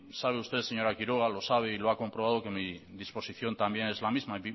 sabe usted señora quiroga y lo sabe y lo ha comprobado que mi disposición también es la misma